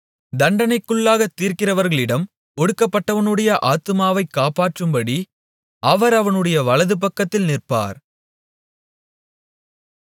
தண்டனைக்குள்ளாகத் தீர்க்கிறவர்களிடம் ஒடுக்கப்பட்டவனுடைய ஆத்துமாவை காப்பாற்றும்படி அவர் அவனுடைய வலதுபக்கத்தில் நிற்பார்